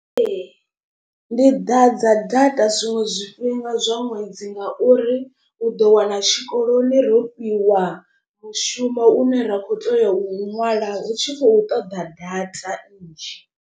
Ee ndi ḓadza data zwiṅwe zwifhinga zwa ṅwedzi ngauri u ḓo wana tshikoloni ro fhiwa mushumo une ra kho teya u ṅwala hu tshi khou ṱoḓa data nnzhi.